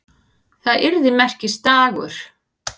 Það yrði merkisdagur.